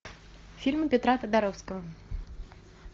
фильм петра тодоровского